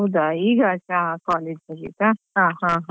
ಹೌದಾ ಈಗ ಆಯ್ತಾ ಹಾ college ಮುಗಿತಾ ಹಾ ಹಾ.